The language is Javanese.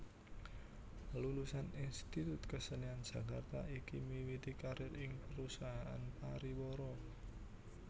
Lulusan Institut Kesenian Jakarta iki miwiti karir ing perusahaan pariwara